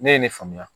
Ne ye ne faamuya